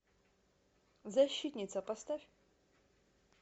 защитница поставь